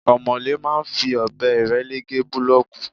Omole máa ń fi ọbẹ irele gé bulooki.